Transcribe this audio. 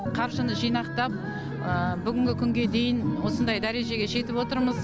қаржыны жинақтап бүгінгі күнге дейін осындай дәрежеге жетіп отырмыз